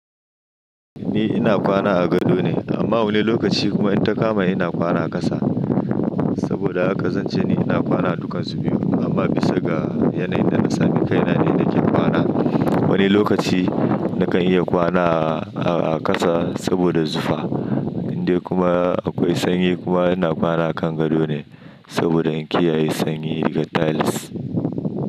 Ni ina kwana a gado ne amma wani lokaci kuma in ta kama ina kwana a ƙasa. Saboda haka zan ce ni ina kwana a dukansu biyu amma bisa ga yanayin da na sami kaina ne nake kwana. Wani lokaci nakan iya kwana a, a ƙasa saboda zufa. Indai kuma akwai sanyi kuma ina kwana a kan gado ne saboda in kiyaye sanyi daga tiles.